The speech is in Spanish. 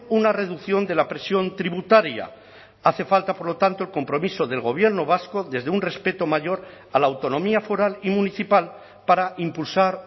una reducción de la presión tributaria hace falta por lo tanto el compromiso del gobierno vasco desde un respeto mayor a la autonomía foral y municipal para impulsar